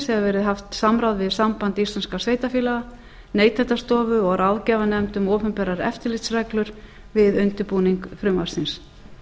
verði haft samráð við samband íslenskum sveitarfélaga neytendastofu og ráðgjafarnefnd um opinberar eftirlitsreglur við undirbúning frumvarpsins